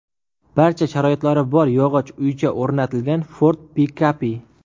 Barcha sharoitlari bor yog‘och uycha o‘rnatilgan Ford pikapi.